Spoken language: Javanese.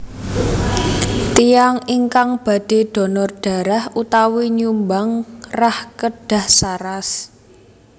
Tiyang ingkang badhe dhonor dharah utawi nyumbang rah kedah saras